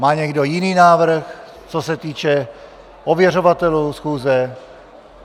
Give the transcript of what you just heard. Má někdo jiný návrh, co se týče ověřovatelů schůze?